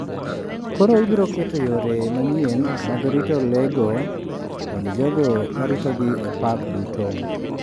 Koro ibiro keto yore manyien mag rito lego kod jogo ma ritogi e park duto.